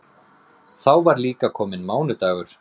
Þá var líka kominn mánudagur.